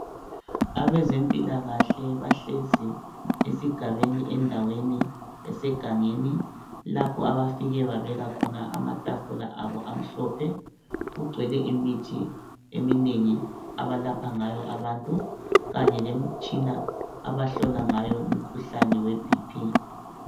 Abezempilakahle bahlezi esigabeni endaweni esegangeni lapho bafike babeka khona amatafula abo amhlophe. Kugcwele imithi eminengi abalapha ngayo abantu kanye lemitshina abahlola ngayo umkhuhlane weBp.